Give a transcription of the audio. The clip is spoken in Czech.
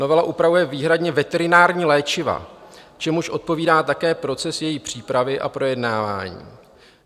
Novela upravuje výhradně veterinární léčiva, čemuž odpovídá také proces její přípravy a projednávání.